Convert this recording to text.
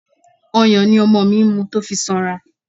Ọyàn ni ọmọ mi mu tó fi sanra.